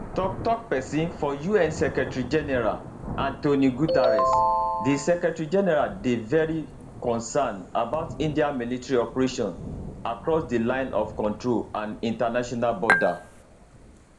tok tok pesin for un secretarygeneral antonio guterres di secretarygeneral dey very concerned about india military operations across di line of control and international border